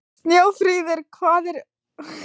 Snjófríður, hvað er opið lengi á þriðjudaginn?